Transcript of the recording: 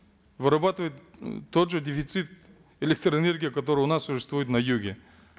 вырабатывает м тот же дефицит электроэнергии который у нас существует на юге